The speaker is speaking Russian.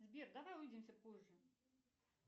сбер давай увидимся позже